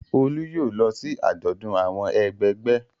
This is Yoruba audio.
Olú yóò lọ sí àjọ̀dún àwọn ẹgbẹgbẹ́.